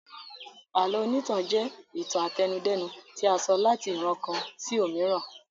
Àlọ́ onítàn jẹ́ ìtàn àtẹnudẹ́nu tí a sọ láti ìran kan sí omiran